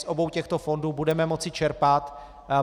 Z obou těchto fondů budeme moci čerpat.